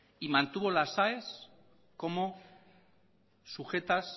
y mantuvo las aes como sujetas